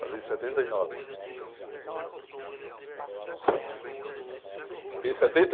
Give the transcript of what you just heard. Casei em setenta e nove.